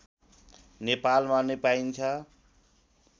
नेपालमा नै पाइन्छ